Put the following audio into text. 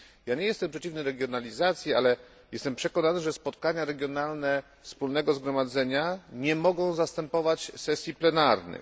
Nie jestem przeciwny regionalizacji, ale jestem przekonany, że spotkania regionalne Wspólnego Zgromadzenia nie mogą zastępować sesji plenarnych.